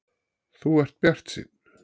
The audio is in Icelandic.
Þú ert bjartsýnn!